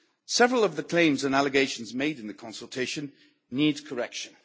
Several of the claims and allegations made in the consultation need correction.